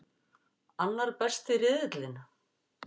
Annar besti riðillinn